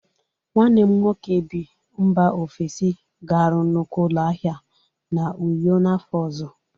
Nwanne m nwoke bi mba ofesi ga-arụ nnukwu ụlọ ahịa n'Uyo n'afọ ọzọ.